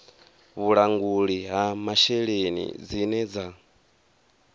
vhulanguli ha masheleni dzine dza